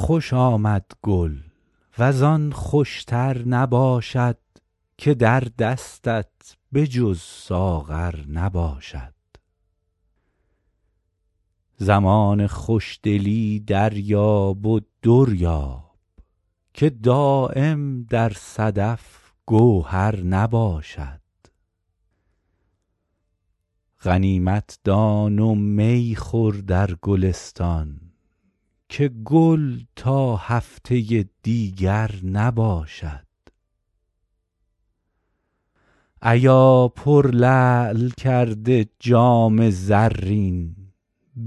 خوش آمد گل وز آن خوش تر نباشد که در دستت به جز ساغر نباشد زمان خوش دلی دریاب و در یاب که دایم در صدف گوهر نباشد غنیمت دان و می خور در گلستان که گل تا هفته دیگر نباشد ایا پرلعل کرده جام زرین